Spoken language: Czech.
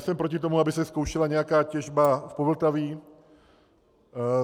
Jsem proti tomu, aby se zkoušela nějaká těžba v Povltaví.